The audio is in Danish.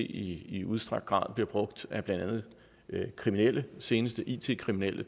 i i udstrakt grad bliver brugt af blandt andet kriminelle vi senest da it kriminelle